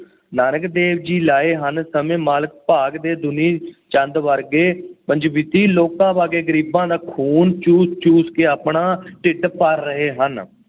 ਨਾਨਕ ਦੇਵ ਜੀ ਲਾਏ ਹਨ ਸਾਨੂੰ ਮਾਲਕ ਭਾਗ ਦੇ ਦੁਂਨੀ ਚੰਦ ਵਰਗੇ ਪੰਜਵੀਤੀ ਲੋਕਾਂ ਵਰਗੇ ਗਰੀਬਾਂ ਦਾ ਖੂਨ ਚੂਸ ਚੂਸ ਕੇ ਆਪਣਾ ਢਿੱਡ ਭਰ ਰਹੇ ਹਨ।